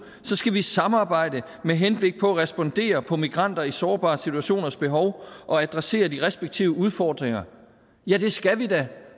skal vi samarbejde med henblik på at respondere på migranter i sårbare situationers behov og adressere de respektive udfordringer ja det skal vi da